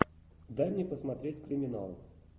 дай мне посмотреть криминал